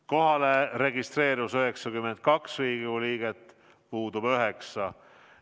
Kohalolijaks registreerus 92 Riigikogu liiget, puudub 9.